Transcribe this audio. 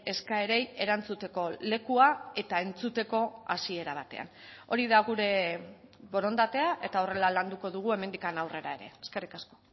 eskaerei erantzuteko lekua eta entzuteko hasiera batean hori da gure borondatea eta horrela landuko dugu hemendik aurrera ere eskerrik asko